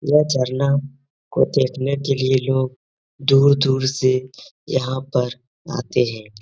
यह झरना को देखने के लिए लोग दूर दूर से यहाँ पर आते हैं।